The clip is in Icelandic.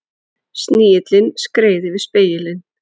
Snigillinn skreið yfir spegilinn.